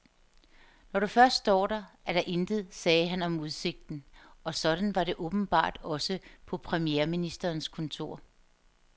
Når du først står der, er der intet, sagde han om udsigten, og sådan var det åbenbart også på premierministerens kontor.